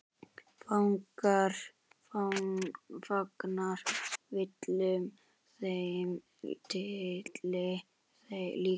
Fagnar Willum þeim titli líka?